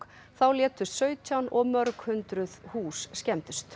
þá létust sautján og mörg hundruð hús skemmdust